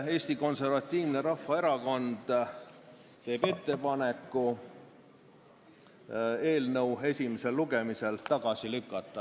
Eesti Konservatiivne Rahvaerakond teeb ettepaneku eelnõu esimesel lugemisel tagasi lükata.